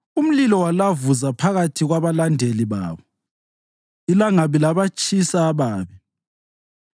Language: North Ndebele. Umlilo walavuza phakathi kwabalandeli babo; ilangabi labatshisa ababi.